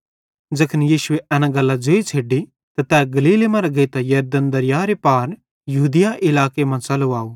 ज़ैखन यीशुए एन गल्लां ज़ोइ छ़ैडी त तै गलीले मरां गेइतां यरदन दरीयारे पार यहूदिया इलाके मां च़लो आव